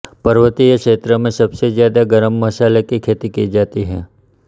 पर्वतीय क्षेत्र में सबसे ज्यादा गरम मसाले की खेती की जाती है